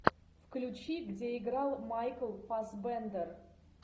включи где играл майкл фассбендер